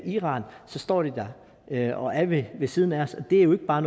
iran så står de der og er ved ved siden af os og det er jo ikke bare